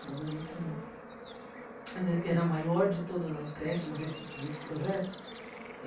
Trabalhei com... Era a maior de todas as creches desse desse projeto.